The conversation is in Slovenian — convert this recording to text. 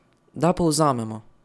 Da povzamemo.